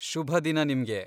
ಶುಭ ದಿನ ನಿಮ್ಗೆ.